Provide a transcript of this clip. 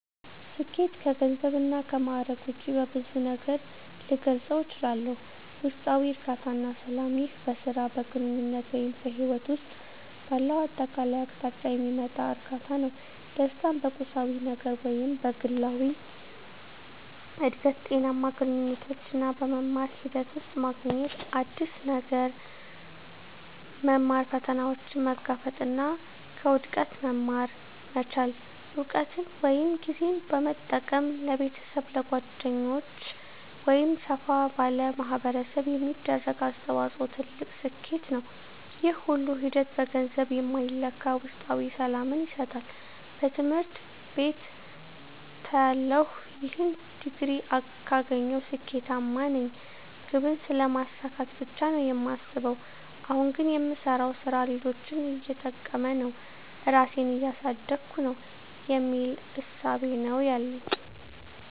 ስኬት ከገንዘብ እና ከማእረግ ውጭ በብዙ ነገር ልገልፀው እችላልሁ። ውስጣዊ እርካታ እና ሰላም ይህ በሥራ፣ በግንኙነት ወይም በሕይወት ውስጥ ባለው አጠቃላይ አቅጣጫ የሚመጣ እርካታ ነው። ደስታን በቁሳዊ ነገር ውስጥ ሳይሆን በግላዊ እድገት፣ ጤናማ ግንኙነቶች እና በመማር ሂደት ውስጥ ማግኘት። አዲስ ነገር መማር፣ ፈተናዎችን መጋፈጥ እና ከውድቀት መማር መቻል። እውቀትን ወይም ጊዜን በመጠቀም ለቤተሰብ፣ ለጓደኞች ወይም ሰፋ ላለ ማኅበረሰብ የሚደረግ አስተዋጽኦ ትልቅ ስኬት ነው። ይህ ሁሉ ሂደት በገንዘብ የማይለካ ውስጣዊ ሰላምን ይሰጣል። በትምህርት ቤትተያለሁ "ይህን ዲግሪ ካገኘሁ ስኬታማ ነኝ" ግብን ስለማሳካት ብቻ ነው የማስበው። አሁን ግን "የምሰራው ሥራ ሌሎችን እየጠቀመ ነው? ራሴን እያሳደግኩ ነው?" የሚል እሳቤ ነው ያለኝ።